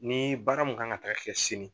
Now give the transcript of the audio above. Ni baara mun kan ka taga kɛ sini